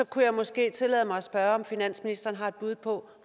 kunne jeg måske tillade mig at spørge om finansministeren har et bud på